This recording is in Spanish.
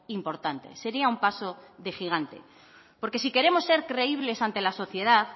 importante sería un paso de gigante porque si queremos ser creíbles ante la sociedad